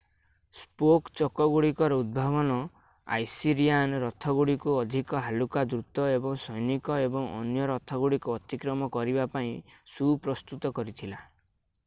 spoke ଚକଗୁଡିକର ଉଦ୍ଭାବନ Assyrian ରଥଗୁଡ଼ିକୁ ଅଧିକ ହାଲୁକା ଦ୍ରୁତ ଏବଂ ସୈନିକ ଏବଂ ଅନ୍ୟ ରଥଗୁଡିକୁ ଅତିକ୍ରମ କରିବା ପାଇଁ ସୁପ୍ରସ୍ତୁତ କରିଥିଲା